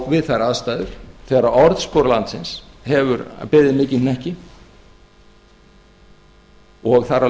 vi ær aðstæður þegar orðspor landsins hefur beðið mikinn hnekki og þar af